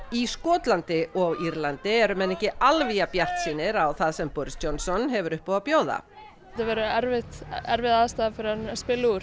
í Skotlandi og Írlandi eru menn ekki alveg jafn bjartsýnir á það sem Boris Johnson hefur upp á að bjóða þetta verður erfið erfið aðstaða að spila úr